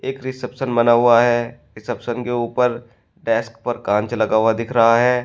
एक रिसेप्शन बना हुआ है रिसेप्शन के ऊपर डैस्क कांच लगा हुआ दिख रहा है।